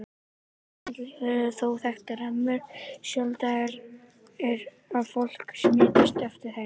Aðrar smitleiðir eru þó þekktar, en mjög sjaldgæft er að fólk smitist eftir þeim.